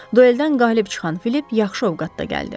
Dueldən qalib çıxan Filip yaxşı ovqatda gəldi.